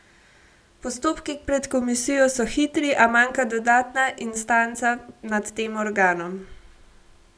Postopki pred komisijo so hitri, a manjka dodatna instanca nad tem organom.